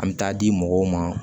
An bɛ taa di mɔgɔw ma